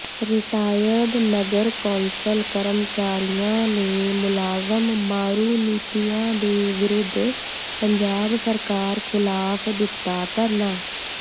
retired ਨਗਰ council ਕਰਮਚਾਰੀਆਂ ਨੇ ਮੁਲਾਜ਼ਮ ਮਾਰੂ ਨੀਤੀਆਂ ਦੇ ਵਿਰੁੱਧ ਪੰਜਾਬ ਸਰਕਾਰ ਖ਼ਿਲਾਫ਼ ਦਿੱਤਾ ਧਰਨਾ